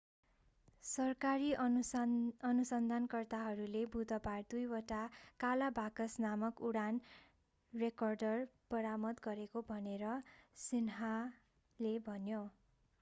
सरकारी अनुसन्धानकर्ताहरूले बुधबार दुईवटा काला बाकस नामक उडान रेकर्डर बरामद गरेको भनेर सिन्ह्वाले भन्यो